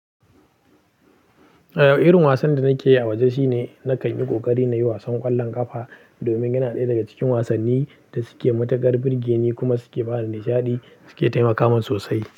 Eh, irin wasan da nake yi a waje shine na kanyi kokari nayi wasan ƙwallon ƙafa domin yana ɗaya daga cikin wasannin da suke matukar birgeni kuma suke. Su ke taimakamin sosai.